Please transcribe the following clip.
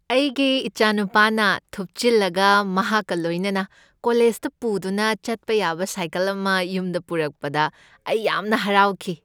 ꯑꯩꯒꯤ ꯏꯆꯥꯅꯨꯄꯥꯅ ꯊꯨꯞꯆꯤꯟꯂꯒ ꯃꯍꯥꯛꯀ ꯂꯣꯏꯅꯅ ꯀꯣꯂꯦꯖꯗ ꯄꯨꯗꯨꯅ ꯆꯠꯄ ꯌꯥꯕ ꯁꯥꯏꯀꯜ ꯑꯃ ꯌꯨꯝꯗ ꯄꯨꯔꯛꯄꯗ ꯑꯩ ꯌꯥꯝꯅ ꯍꯔꯥꯎꯈꯤ ꯫